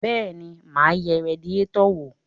Bẹ́ẹ̀ni, mà á yẹ radiétọ̀ wò.